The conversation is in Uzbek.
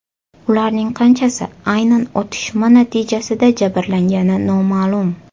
Ularning qanchasi aynan otishma natijasida jabrlangani noma’lum.